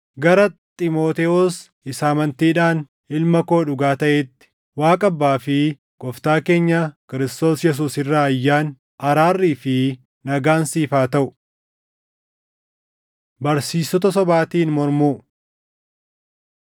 Gara Xiimotewos isa amantiidhaan ilma koo dhugaa taʼeetti: Waaqa Abbaa fi Gooftaa keenya Kiristoos Yesuus irraa ayyaanni, araarrii fi nagaan siif haa taʼu. Barsiistota Sobaatiin Mormuu